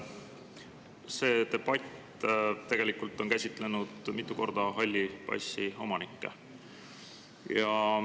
Selle debati ajal on mitu korda käsitletud halli passi omanikke.